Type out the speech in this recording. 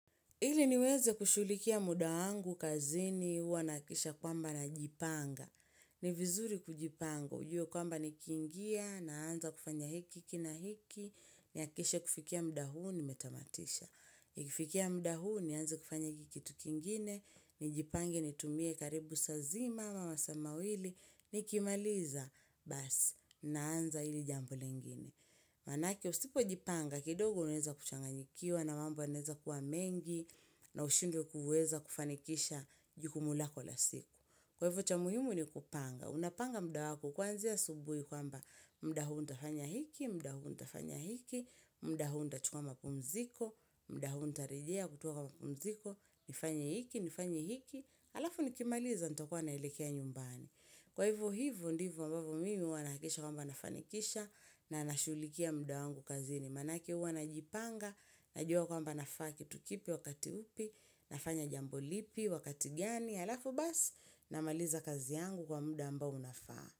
Ili niweze kushughulikia muda wangu kazini huws nahakikisha kwamba na jipanga. Ni vizuri kujipanga, ujue kwamba nikiingia naanza kufanya hiki kiki na hiki, nihakikishe kufikia muda huu nimetamatisha. Nikfikia muda huu nianze kufanya hiki kitu kingine, nijipange nitumie karibu saa zima, ama masaa mawili, nikimaliza, basi, naanza hili jambo lingine. Manake usipo jipanga kidogo unaweza kuchanganyikiwa na mambo yanaeza kuwa mengi na ushindwe kufanikisha jukumu lako lavsiku. Kwa hivyo cha muhimu ni kupanga. Unapanga muda wako kuanzia asubuhi kwamba muda huu nitafanya hiki, muda huu nitafanya hiki, muda hu nitachukua mapumziko, muda huu ntarejea kutoka kwa mapumziko, nifanye hiki, nifanye hiki. Halafu nikimaliza nitakuwa naelekea nyumbani kwa hivo ndivo ambavyo mimi huwa nahakikisha kwamba nafanikisha na nashughlikia muda wangu kazini manake huwa najipanga najua kwamba nafaa kitu kipi wakati upi nafanya jambo lipi wakati gani halafu basi namaliza kazi yangu kwa muda ambao unafaa.